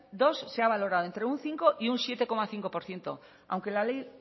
dos se ha valorado entre un cinco y un siete coma cinco por ciento aunque la ley